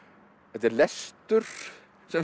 þetta er lestur sem